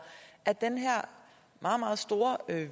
at den her meget meget store og